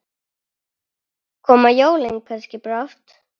Hafið þetta í huga.